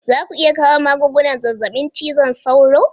Za ku iya kawo magungunan zazzabin cizon sauro?